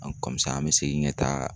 an be segin ka taa